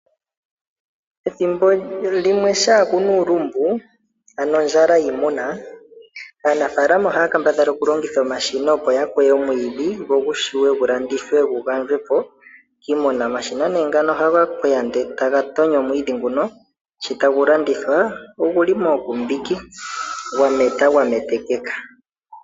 Ethimbo limwe shampa ku na uulumbu ano ondjala yiimuna aanafaalama ohaya kambadhala okulongitha omashina opo ya kweye omwiidhi, go gu shiwe gu landithwe gu gandjwe po kiimuna. Omashina nee ngano ohaga kweya ndele e ta ga tonyo omwiidhi nguno, sho tagu landithwa ogu li mookumbiki gwametwa gwa metekeka.